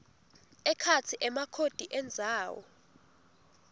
ekhatsi emakhodi endzawo